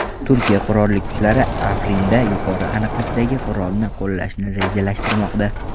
Turkiya Qurolli kuchlari Afrinda yuqori aniqlikdagi qurolni qo‘llashni rejalashtirmoqda.